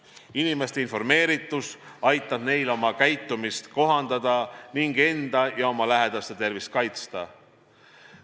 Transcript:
Inimeste informeeritus aitab neil oma käitumist kohandada ning enda ja oma lähedaste tervist kaitsta.